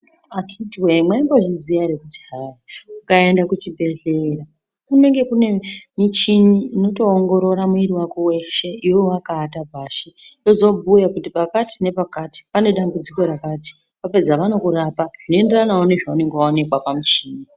Aakhiti woye mwaimbozviziya ere kuti hai ukaenda kuchibhedhleya kunenge kune michini inotoongoorora mwiri wako weshe iwewe wakaata pashi yozobhuya kuti pakati nepakati pane dambudziko rakati vapedza vanokurapa zvinoenderanawo nezvaunenge waonekwa pamuchini.